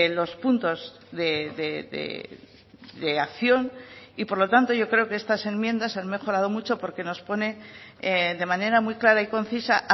los puntos de acción y por lo tanto yo creo que estas enmiendas han mejorado mucho porque nos pone de manera muy clara y concisa